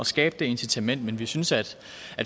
skabe det incitament men vi synes at